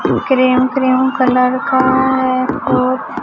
cream cream colour का है ओ--